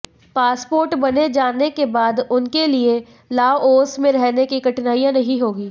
passport बन जाने के बाद उनके लिये लाओस में रहने में कठिनाई नहीं होगी